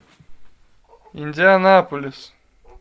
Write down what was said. индианаполис